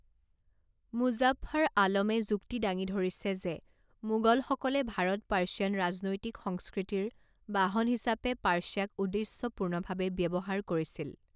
মোজাফফাৰ আলমে যুক্তি দাঙি ধৰিছে যে মোগলসকলে ভাৰত পাৰ্ছিয়ান ৰাজনৈতিক সংস্কৃতিৰ বাহন হিচাপে পাৰ্ছিয়াক উদ্দেশ্যপূৰ্ণভাৱে ব্যৱহাৰ কৰিছিল।